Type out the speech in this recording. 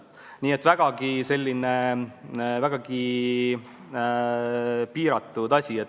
Nii et vägagi piiratud sisu.